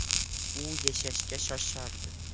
U yashashga shoshardi.